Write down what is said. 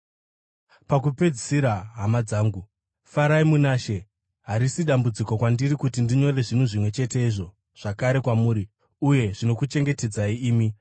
Pakupedzisira, hama dzangu, farai muna She! Harisi dambudziko kwandiri kuti ndinyore zvinhu zvimwe chetezvo zvakare kwamuri, uye zvinokuchengetedzai imi.